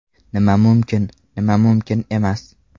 Nima mumkin, nima mumkin emas.